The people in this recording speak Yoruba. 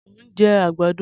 Mo ń jẹ àgbàdo